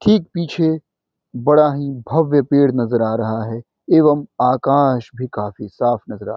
ठीक पीछे बड़ा ही भव्य पेड़ नजर आ रहा है एवं आकाश भी काफ़ी साफ़ नजर आ --